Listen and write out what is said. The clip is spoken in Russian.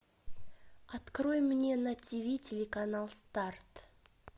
открой мне на тв телеканал старт